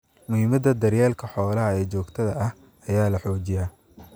Muhiimadda daryeelka xoolaha ee joogtada ah ayaa la xoojiyaa.